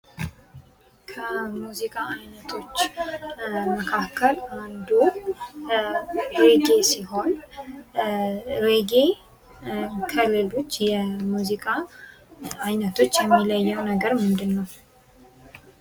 ከሙዚቃ አይነቶች መካከል አንዱ ሬጌ ሲሆን ሬጌ ከሌሎች የሙዚቃ አይነቶች የሚለየው ምንድን ነው?